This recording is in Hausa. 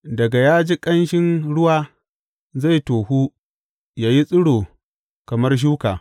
Daga ya ji ƙanshin ruwa zai tohu yă yi tsiro kamar shuka.